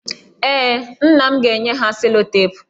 Ee, nna m ga-enye ha selotepụ.